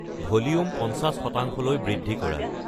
volume পঞ্চাশ শতাংশলৈ বৃ্‌দ্ধি কৰা